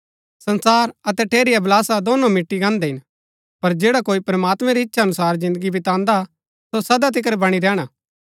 संसार अतै ठेरी अभिलाषा दोनों मिटी गान्हदै हिन पर जैडा कोई प्रमात्मां री ईच्‍छा अनुसार जिन्दगी बितान्दा सो सदा तिकर बणी रैहणा